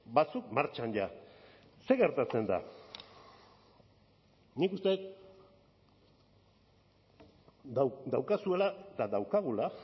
batzuk martxan ja zer gertatzen da nik uste dut daukazuela eta daukagula